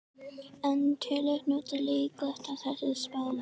En telur Knútur líklegt að þessi spá rætist?